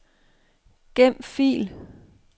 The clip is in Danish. Gem fil.